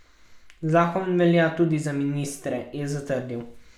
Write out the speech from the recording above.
Zakon velja tudi za ministre, je zatrdil.